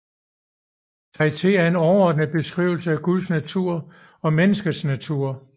Traité er en overordnet beskrivelse af Guds natur og menneskets natur